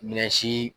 Minɛnsi